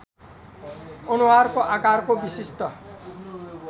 अनुहारको आकारको विशिष्ट